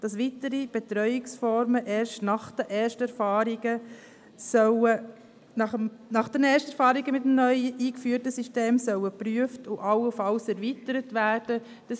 Dass weitere Betreuungsformen erst nach den ersten Erfahrungen mit dem neu eingeführten System geprüft und allenfalls erweitert werden sollen.